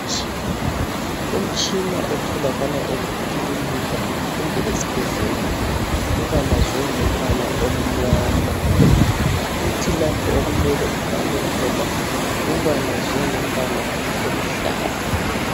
Umtshina otholakala emakilinika kumbe esibhedlela ubalazwe ngombala omnyama kuthi lapho okumele ubhale khona ubalazwe ngombala oluhlaza .